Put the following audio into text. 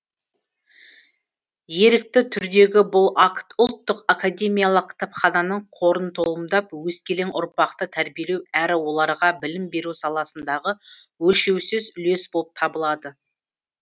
ерікті түрдегі бұл акт ұлттық академиялық кітапхананың қорын толымдап өскелең ұрпақты тәрбиелеу әрі оларға білім беру саласындағы өлшеусіз үлес болып табылады